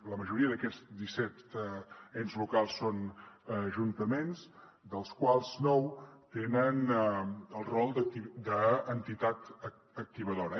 la majoria d’aquests disset ens locals són ajuntaments dels quals nou tenen el rol d’entitat activadora